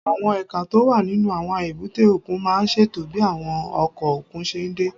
Àwọn ẹ̀ka tó wà nínú àwọn èbúté òkun máa ń ṣètò bí àwọn ọkọ̀ òkun ṣe ń dé